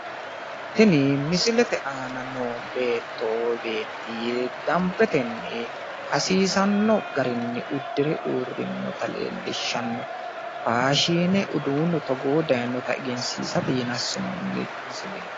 Tini misilete aana noo beetto woyi beetti dambetenni hasiisanno garinni uddire uurrinnota leellishshanno. Faashiine uduunnu togoohu daayinota egensiisate yine assinoonni misileeti.